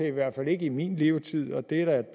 i hvert fald ikke i min levetid og det er da